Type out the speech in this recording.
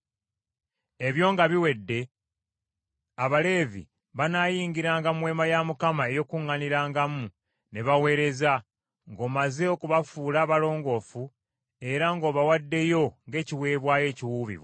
“Ebyo nga biwedde Abaleevi banaayingiranga mu Weema ey’Okukuŋŋaanirangamu ne baweereza, ng’omaze okubafuula abalongoofu era ng’obawaddeyo ng’ekiweebwayo ekiwuubibwa.